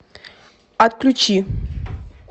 отключи